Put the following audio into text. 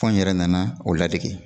Fo n yɛrɛ nana o ladege